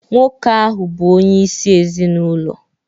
Nwoke ahụ bụ onyeisi ezinụlọ